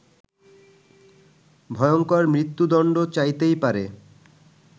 ভয়ঙ্কর মৃত্যুদন্ড চাইতেই পারে